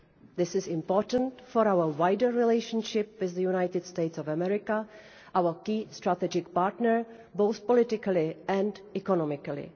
This is important for our wider relationship with the United States of America, our key strategic partner both politically and economically.